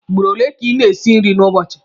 Ugboro ole ka ị na-esi nri n'ụbọchị.